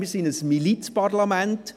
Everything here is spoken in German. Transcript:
Wir sind ein Milizparlament.